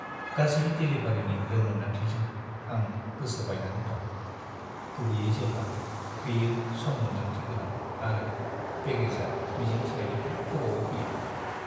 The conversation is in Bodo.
गासै देलिभारिनि रोंमोनदांथिजों आं गोसो बायनानै दं, गुबैयै जेब्ला बेयो सम-मोनदांथि गोनां आरो पेकेजआ मिजिंथिनायनिफ्राय गोबावै फैयो।